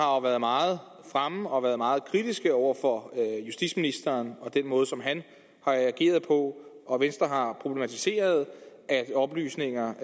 været meget fremme og været meget kritiske over for justitsministeren og den måde som han har ageret på og venstre har problematiseret at oplysninger